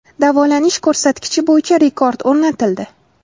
Davolanish ko‘rsatkichi bo‘yicha rekord o‘rnatildi.